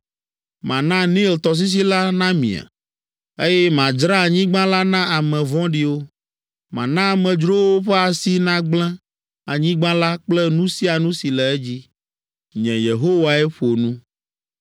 Mana Nil tɔsisi la namie, eye madzra anyigba la na ame vɔ̃ɖiwo. Mana amedzrowo ƒe asi nagblẽ anyigba la kple nu sia nu si le edzi. Nye, Yehowae ƒo nu.